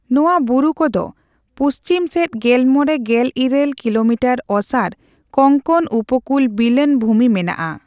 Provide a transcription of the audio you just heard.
ᱱᱚᱣᱟ ᱵᱩᱨᱩᱠᱚ ᱫᱚ ᱯᱩᱪᱷᱤᱢ ᱥᱮᱡ ᱜᱮᱞᱢᱚᱲᱮᱼᱜᱮᱞᱤᱨᱟᱹᱞ ᱠᱤᱞᱳᱢᱤᱴᱟᱨ ᱚᱥᱟᱨ ᱠᱚᱝᱠᱚᱱ ᱩᱯᱠᱩᱞ ᱵᱤᱞᱟᱱ ᱵᱷᱩᱢᱤ ᱢᱮᱱᱟᱜᱼᱟ ᱾